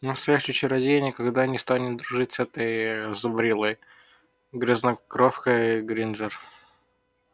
настоящий чародей никогда бы не стал дружить с этой зубрилой грязнокровкой грэйнджер